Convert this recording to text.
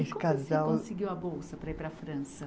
E casal. Como você conseguiu a bolsa para ir para a França?